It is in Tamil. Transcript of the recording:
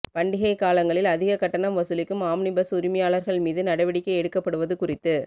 பண்டிகை காலங்களில் அதிக கட்டணம் வசூலிக்கும் ஆம்னி பஸ் உரிமையாளர்கள் மீது நடவடிக்கை எடுக்கப்படுவ து குறித்து